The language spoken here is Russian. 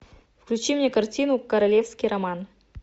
включи мне картину королевский роман